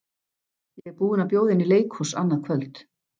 Ég er búinn að bjóða henni í leikhús annað kvöld.